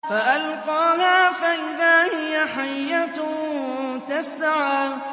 فَأَلْقَاهَا فَإِذَا هِيَ حَيَّةٌ تَسْعَىٰ